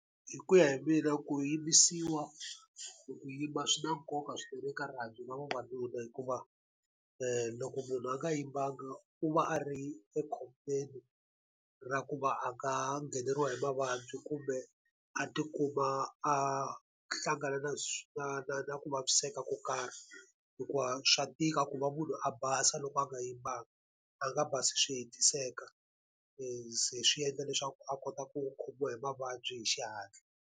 Hi ku ya hi mina ku yimbisiwa kumbe ku yimba swi na nkoka swinene eka rihanyo ra vavanuna hikuva loko munhu a nga yimbanga u va a ri ekhombyeni ra ku va ha nga ngheneriwa hi mavabyi kumbe a tikuma a hlangana na na na na ku vaviseka ko karhi. Hikuva swa tika ku va munhu a basa loko a nga yimbanga, a nga basi swi hetiseka se swi endla leswaku a kota ku khomiwa hi mavabyi hi xihatla.